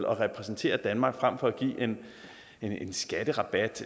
og repræsentere danmark fremfor at give en skatterabat